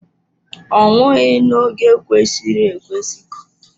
Ọ nwụghị n'oge kwesịrị ekwesị.